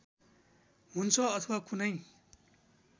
हुन्छ अथवा कुनै